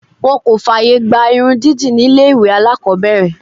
Wọ́n kò fààyè gba irun dídì ní ilé ìwé alákọ̀ọ́bẹ̀rẹ̀.